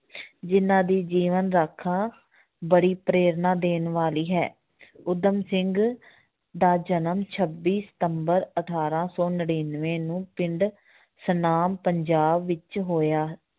ਜਿੰਨਾਂ ਦੀ ਜੀਵਨ ਗਾਥਾ ਬੜੀ ਪ੍ਰੇਰਨਾ ਦੇਣ ਵਾਲੀ ਹੈ ਊਧਮ ਸਿੰਘ ਦਾ ਜਨਮ ਛੱਬੀ ਸਤੰਬਰ ਅਠਾਰਾਂ ਸੌ ਨੜ੍ਹਿਨਵੇਂ ਨੂੰ ਪਿੰਡ ਸਨਾਮ ਪੰਜਾਬ ਵਿੱਚ ਹੋਇਆ